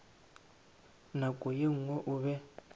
nako ye nngwe o be